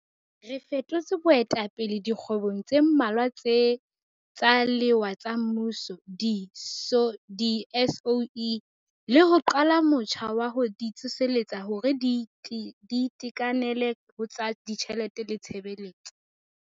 Re fetotse boetapele dikgwebong tse mmalwa tsa lewa tsa mmuso di-SOE, le ho qala motjha wa ho di tsoseletsa hore di itekanele ho tsa ditjhelete le tshebetso.